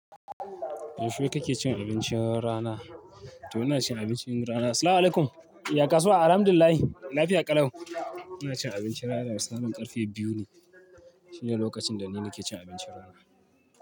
Yaushe kake cin abincin rana? To ina cin abincin rana. Assalamualaikum. Yaya kasuwa? Alhamdulillahi lafiya ƙalau. Ina cin abincin rana da ranar karfe biyu ne. Shine lokacin da ni nake cin abincin rana.